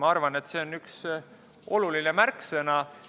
Ma arvan, et see on oluline märksõna.